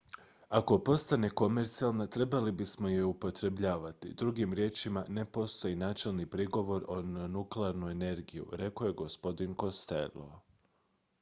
"""ako postane komercijalna trebali bismo je je upotrebljavati. drugim riječima ne postoji načelni prigovor na nuklearnu energiju" rekao je gospodin costello.